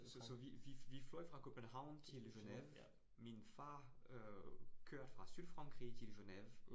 Så så vi vi vi fløj fra København til Genève, min far øh kørte fra Sydfrankrig til Genève